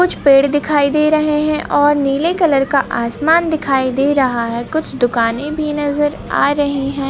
कुछ पेड़ दिखाई दे रहे है और नीले कलर का आसमान दिखाई दे रहा है कुछ दुकानें भी नज़र आ रही है।